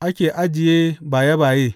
ake ajiye baye baye.